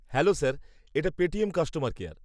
-Hello sir, এটা Paytm customer care.